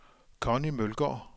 Conni Mølgaard